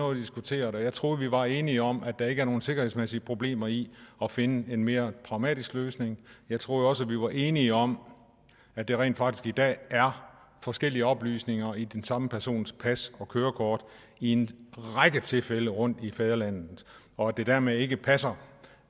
har diskuteret og jeg troede at vi var enige om at der ikke er nogen sikkerhedsmæssige problemer i at finde en mere pragmatisk løsning jeg troede også vi var enige om at der rent faktisk i dag er forskellige oplysninger i den samme persons pas og kørekort i en række tilfælde rundt i fædrelandet og at det dermed ikke passer